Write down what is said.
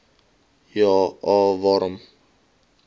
ja a waarom